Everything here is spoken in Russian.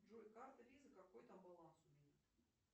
джой карта виза какой там баланс у меня